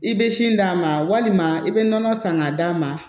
I bɛ sin d'a ma walima i bɛ nɔnɔ san k'a d'a ma